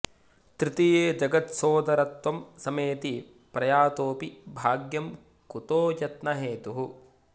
तृतीये जगत्सोदरत्वं समेति प्रयातोऽपि भाग्यं कुतो यत्न हेतुः